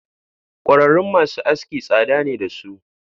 Kwararun masu aski tsada ne dasu.